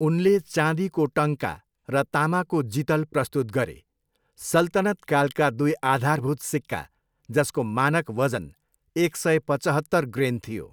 उनले चाँदीको टङ्का र तामाको जितल प्रस्तुत गरे, सल्तनत कालका दुई आधारभूत सिक्का, जसको मानक वजन एक सय पचहत्तर ग्रेन थियो।